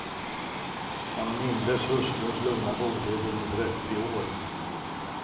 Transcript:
Han mindes hustruns lugna godhet under trettio år.